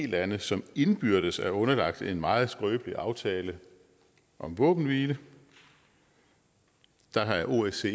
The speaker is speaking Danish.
lande som indbyrdes er underlagt en meget skrøbelig aftale om våbenhvile der er osce